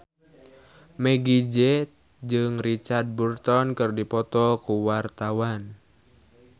Meggie Z jeung Richard Burton keur dipoto ku wartawan